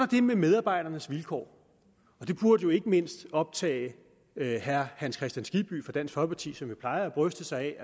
det med medarbejdernes vilkår og det burde jo ikke mindst optage herre hans kristian skibby fra dansk folkeparti som jo plejer at bryste sig af